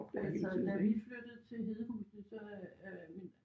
Altså da vi flyttede til Hedehusene så øh min